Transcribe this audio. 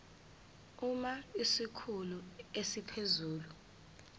uma isikhulu esiphezulu